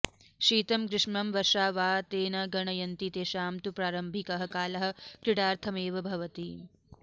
शीतं ग्रीष्मं वर्षा वा ते न गणयन्ति तेषां तु प्रारम्भिकः कालः क्रिडार्थमेव भवति